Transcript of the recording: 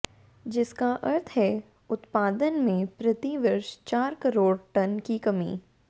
जिसका अर्थ है उत्पादन में प्रति वर्ष चार करोड़ टन की कमी